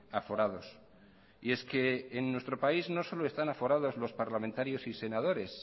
aforados y es que en nuestro país no solo están aforados los parlamentarios y senadores